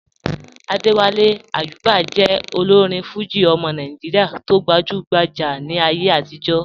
Adéwálé Àyùbá jẹ́ òlórin Fújì ọmọ Nàìjíríà tí o gbajúgbájá ní ayé àtìjọ́.